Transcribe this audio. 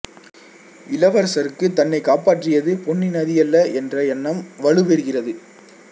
இளவரசருக்குத் தன்னைக் காப்பற்றியது பொன்னி நதியல்ல என்ற எண்ணம் வலுப் பெறுகிறது